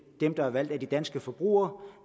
dem der er valgt af de danske forbrugere